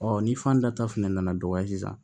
ni fan da ta fɛnɛ nana dɔgɔya sisan